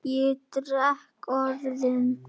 Ég dreg orðin.